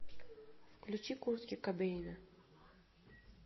включи куртки кобейна